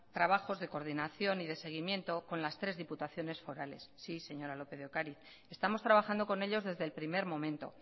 trabajos de coordinación y de seguimiento con las tres diputaciones forales sí señora lópez de ocariz estamos trabajando con ellos desde el primer momento